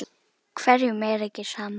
Hverjum er ekki sama.